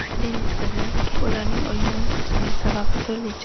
Denis Kazanskiy: Ularning o‘yindan chiqishining sababi turlicha.